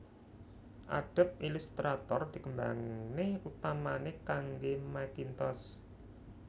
Adobe Illustrator dikembangné utamané kangge Macintosh